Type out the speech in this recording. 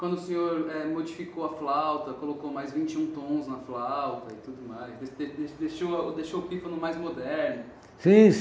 Quando o senhor eh modificou a flauta, colocou mais vinte e um tons na flauta e tudo mais, de de de deixou deixou o pífano mais moderno. Sim